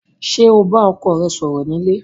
Ṣé o bá ọkọ rẹ sọ̀rọ̀ ni ilé?